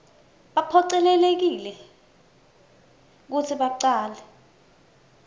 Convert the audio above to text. baphocelelekile kutsi bacale